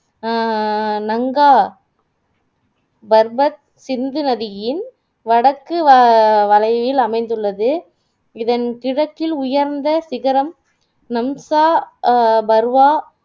அஹ் நங்கா பர்வத் சிந்து நதியின் வடக்கு வவளைவில் அமைந்துள்ளது இதன் உயர்ந்த சிகரம் நம்சா அஹ் பர்வா